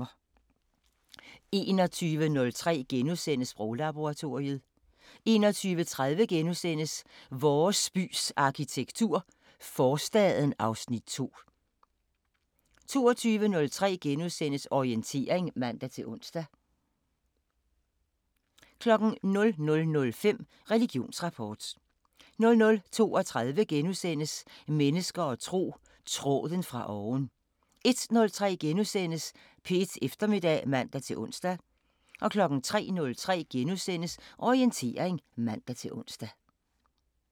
21:03: Sproglaboratoriet * 21:30: Vores bys arkitektur – Forstaden (Afs. 2)* 22:03: Orientering *(man-ons) 00:05: Religionsrapport 00:32: Mennesker og tro: Tråden fra oven * 01:03: P1 Eftermiddag *(man-ons) 03:03: Orientering *(man-ons)